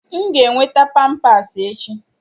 M ga-enweta Pampasi echi.